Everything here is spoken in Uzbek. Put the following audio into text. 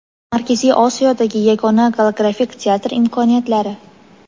Markaziy Osiyodagi yagona golografik teatr imkoniyatlari.